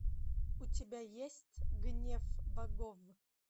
у тебя есть гнев богов